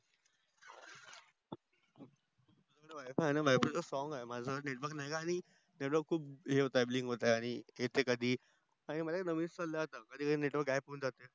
wifi आहे माझ सोंग आहे माझा network नाही का network खूप bling होत आहे आनी येते कधी